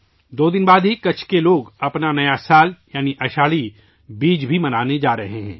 دو دن بعد، کچھ کے لوگ اپنا نیا سال، یعنی آشاڑھی بیج منانے جا رہے ہیں